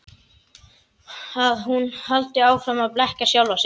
Að hún haldi áfram að blekkja sjálfa sig.